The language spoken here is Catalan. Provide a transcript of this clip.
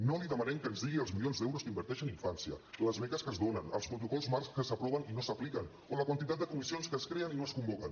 no li demanem que ens digui els milions d’euros que inverteix en infància les beques que es donen els protocols marc que s’aproven i no s’apliquen o la quantitat de comissions que es creen i no es convoquen